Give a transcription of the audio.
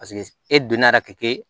Paseke e donna k'e